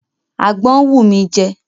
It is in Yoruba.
Àgbọn ń wù mí jẹ.